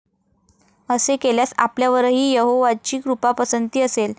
असे केल्यास, आपल्यावरही यहोवाची कृपापसंती असेल.